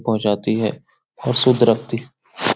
पहुँचाती है और शुद्ध रखती --